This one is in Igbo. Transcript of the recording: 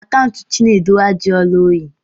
Akaụntụ Chinedu ajụọla oyi.